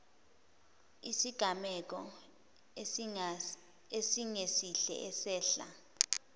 isigameko esingesihle esehla